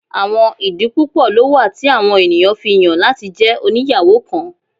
Awọn idi pupọ lo wa ti awọn eniyan fi yan lati jẹ oniyawo kan